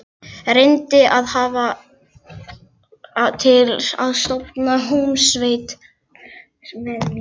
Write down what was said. Reyndi að fá hann til að stofna hljómsveit með mér.